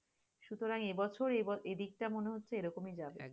সুতরং এবছর এদিকটা মনে হচ্ছে এরকমই যাবে,